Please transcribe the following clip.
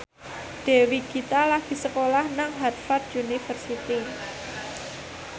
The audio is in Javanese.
Dewi Gita lagi sekolah nang Harvard university